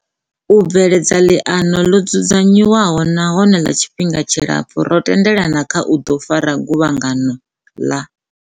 U bveledza ḽiano ḽo dzudza nywaho nahone ḽa tshifhinga tshilapfu, ro tendelana kha u ḓo fara Guvhangano ḽa